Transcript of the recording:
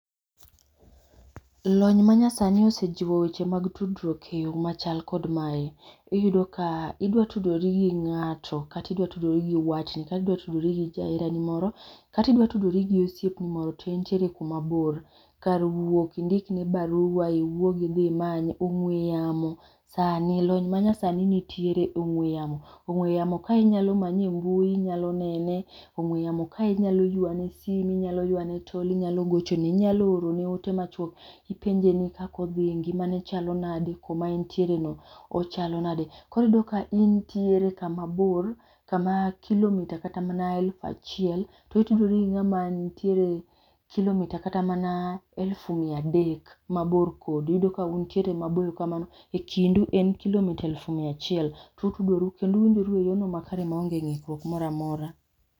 Lony ma nyasani osechiwo weche mag tudruok e yo ma chal kod mae, iyudo ka idwa tudori gi ng'ato ka idwa tudri gi watni, kata idwa tudri gi jahera ni moro ,kata idwa tudori gi osiepni moro, to intiere ku ma bor. kar wuok indik ne barua iwuog idhi manye ongwe yamo lony ma nyasani nitiere ongwe yamo sani lony ma nyasani nitier e ongwe yamo .Ong'we yamo kae inyalo manye e mbui inya nene, ong'we yamo ka inya ywane simo inyalo ywa ne tol inyalo gochone ,inyalo orne ote machuok ipenje ni kaka odhi ngima ne chalo nande ka ma en tiere no ochalo nade. koro iyudo ka intier ka ma bor ka ma kilo mita kata mana aluf achiel to itudori gi ng'a ma kilo mita kata mana alufu mia adek ma bor kodi, iyudo ka untiere maboyo kamano e kindu en kilo mita mia achiel , utudoru kendo uyudoru e yo ma kare ma onge ngikruok moro amora.